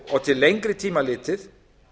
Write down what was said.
og til lengri tíma litið